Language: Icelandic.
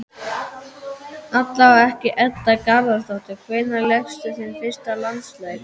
Allavega ekki Edda Garðarsdóttir Hvenær lékstu þinn fyrsta landsleik?